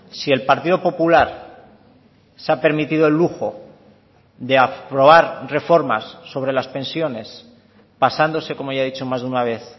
si el partido popular se ha permitido el lujo de aprobar reformas sobre las pensiones pasándose como ya he dicho más de una vez